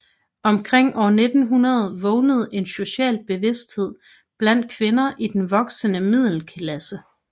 Omkring år 1900 vågnede en social bevidsthed blandt kvinder i den voksende middelklasse